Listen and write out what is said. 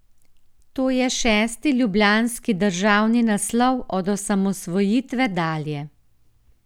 To je šesti ljubljanski državni naslov od osamosvojitve dalje.